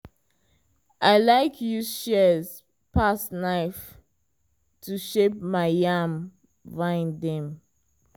i like use shears pass knife to shape my yam vine dem.